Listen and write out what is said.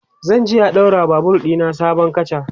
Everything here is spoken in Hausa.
zanje a ɗaura wa Babur ɗina sabon katcha